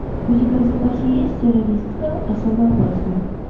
у тебя в запасе есть террористка особо опасна